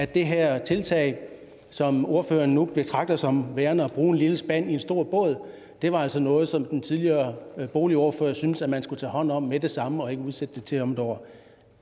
det her tiltag som ordføreren nu betragter som værende at bruge en lille spand i en stor båd var altså noget som den tidligere boligordfører syntes at man skulle tage hånd om med det samme og ikke udsætte til om et år